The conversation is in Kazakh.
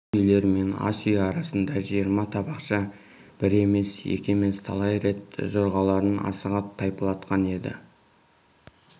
сол үйлер мен ас үй арасында жиырма табақшы бір емес екі емес талай рет жорғаларын асыға тайпалтқан еді